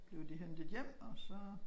Blev de hentet hjem og så